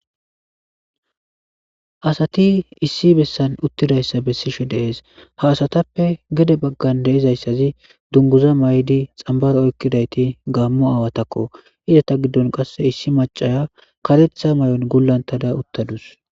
Asati issi besanni uttidayissa besishshe de'ees. haa asatappe gede baganni de'izayissazi duniguzza mayiddi xanibaro oyikkidayitti Gamo awatakko izeta giddonni qaase issi maacaya kareththa mayonni gulanittada uttaduss.